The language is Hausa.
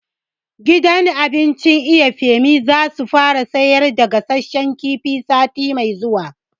Gidan abincin Iya Femi za su fara sayar da gasashen kifi sati mai zuwa